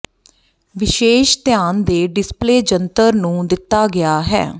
ਵਿਸ਼ੇਸ਼ ਧਿਆਨ ਦੇ ਡਿਸਪਲੇਅ ਜੰਤਰ ਨੂੰ ਦਿੱਤਾ ਗਿਆ ਹੈ